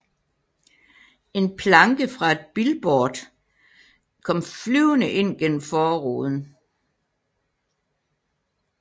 En planke fra et billboard kom flyvende ind gennem forruden